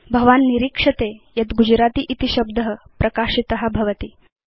भवान् निरीक्षते यत् गुजरति इति शब्द प्रकाशित भवति